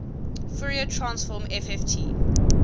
fourier transform fft